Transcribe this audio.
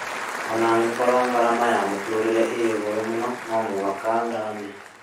Ona angĩkorwo ngarama ya mũtũrĩre ĩ igũrũ mũno no mũhaka thame